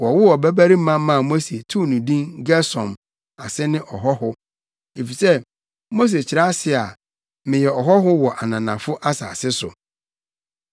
Wɔwoo ɔbabarima maa Mose too no din Gersom, ase ne Ɔhɔho, efisɛ Mose kyerɛ ase se, “Meyɛ ɔhɔho wɔ ananafo asase so.”